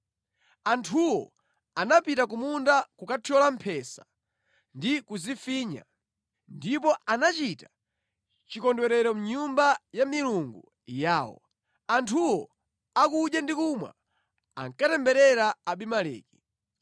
Anthuwo anapita ku munda kukathyola mphesa ndi kuzifinya, ndipo anachita chikondwerero mʼnyumba ya milungu yawo. Anthuwo akudya ndi kumwa, ankatemberera Abimeleki.